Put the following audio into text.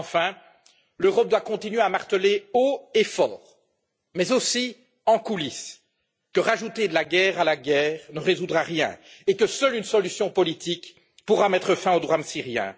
Enfin, l'Europe doit continuer à marteler haut et fort, mais aussi en coulisses, que rajouter de la guerre à la guerre ne résoudra rien et que seule une solution politique pourra mettre fin au drame syrien.